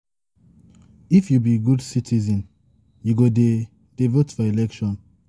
if you be good citizen, you go dey dey vote for election.